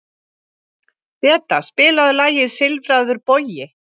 Beta, spilaðu lagið „Silfraður bogi“.